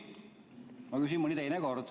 Ma küsin mõni teine kord.